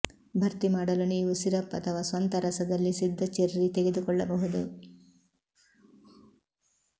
ಭರ್ತಿ ಮಾಡಲು ನೀವು ಸಿರಪ್ ಅಥವಾ ಸ್ವಂತ ರಸದಲ್ಲಿ ಸಿದ್ಧ ಚೆರ್ರಿ ತೆಗೆದುಕೊಳ್ಳಬಹುದು